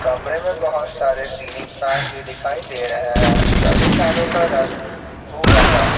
कमरे में बहुत सारे सीलिंग फैन भी दिखाई दे रहे हैं सभी फैनो का रंग भूरा है।